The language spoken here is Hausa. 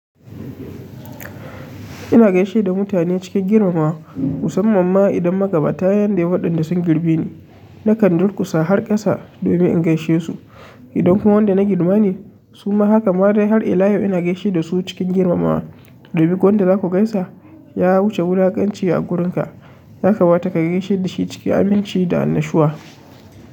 Ina geshe da mutane cikin girmamawa, musamman ma idan magaba ta yanda waɗanda sun girbe ni. Na kan durƙusa har ƙasa domin in gaishe su. Idan kuma wanda na girma ne su ma haka ma dai har ila yau ina gaishe da su cikin girmamawa. Dubi, ko wanda za ku gaisa ya wuce wulakanci a wurinka, haka ma ta kai gaishe da shi cikin aminci da annashuwa.